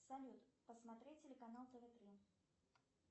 салют посмотреть телеканал тв три